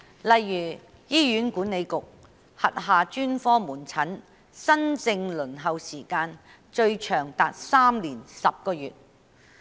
例如，醫院管理局轄下專科門診新症輪候時間最長達3年10個月。